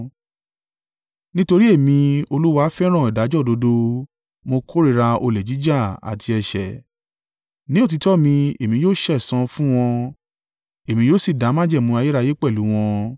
“Nítorí Èmi, Olúwa fẹ́ràn ìdájọ́ òdodo; mo kórìíra olè jíjà àti ẹ̀ṣẹ̀. Ní òtítọ́ mi èmi yóò sẹ̀san fún wọn èmi yóò sì dá májẹ̀mú ayérayé pẹ̀lú wọn.